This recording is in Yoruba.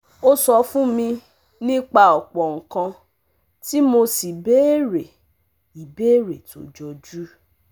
O sọ fún mi nípa ọ̀pọ̀ nǹkan tí mo sì béèrè ìbéèrè tó jọjú